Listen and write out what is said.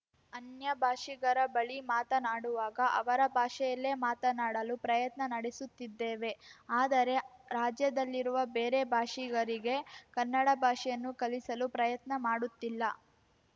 ಅನ್ಯ ಭಾಷಿಗರ ಬಳಿ ಮಾತನಾಡುವಾಗ ಅವರ ಭಾಷೆಯಲ್ಲೇ ಮಾತನಾಡಲು ಪ್ರಯತ್ನ ನಡೆಸುತ್ತಿದ್ದೇವೆ ಆದರೆ ರಾಜ್ಯದಲ್ಲಿರುವ ಬೇರೆ ಭಾಷಿಗರಿಗೆ ಕನ್ನಡ ಭಾಷೆಯನ್ನು ಕಲಿಸಲು ಪ್ರಯತ್ನ ಮಾಡುತ್ತಿಲ್ಲ